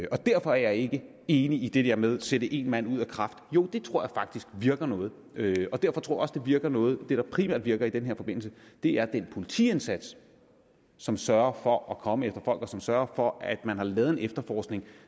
og derfor er jeg ikke enig i det der med at sætte en mand ud af kraft jo det tror jeg faktisk virker noget og derfor tror jeg virker noget og det der primært virker i den forbindelse er den politiindsats som sørger for at komme efter folk og som sørger for at man har lavet en efterforskning